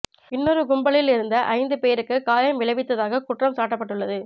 இன்னொரு கும்பலில் இருந்த ஐந்து பேருக்குக் காயம் விளைவித்ததாக குற்றம் சாட்டப்பட்டுள்ளது